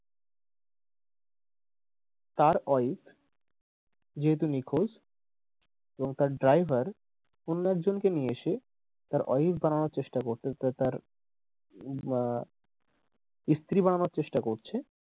তার wife যেহেতু নিখোঁজ এবং তার driver অন্য একজন কে নিয়ে এসে তার wife বানানোর চেষ্টা করে তার আহ স্ত্রী বানানোর চেষ্টা করছে,